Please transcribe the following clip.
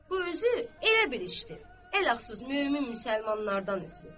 Bu özü elə bir işdir, əlhəq, mömin müsəlmanlardan ötrü.